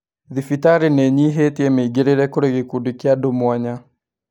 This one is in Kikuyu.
Thibitarĩ nĩ ĩnyihĩtie mĩingĩrĩre kũrĩ gĩkundi kĩa andũ mwanya